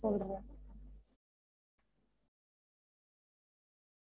சொல்றோம்